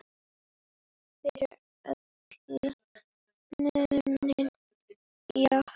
Fyrir alla muni, já.